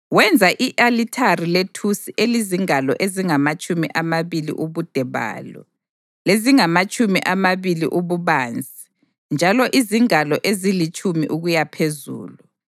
Wenza i-alithari lethusi elizingalo ezingamatshumi amabili ubude balo, lezingamatshumi amabili ububanzi njalo izingalo ezilitshumi ukuyaphezulu.